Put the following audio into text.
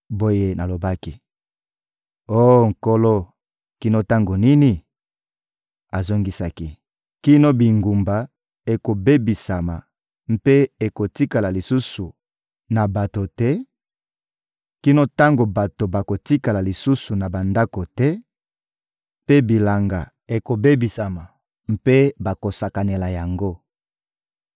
Boye nalobaki: — Oh Nkolo, kino tango nini? Azongisaki: — Kino bingumba ekobebisama mpe ekotikala lisusu na bato te, kino tango bato bakotikala lisusu na bandako te, mpe bilanga ekobebisama mpe bakosakanela yango;